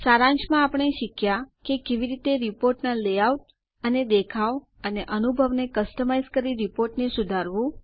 સારાંશમાં આપણે શીખ્યાં કે કેવી રીતે રીપોર્ટના લેઆઉટ અને દેખાવ અને અનુભવ ને કસ્ટમાઇઝ કરી રીપોર્ટ ને સુધારો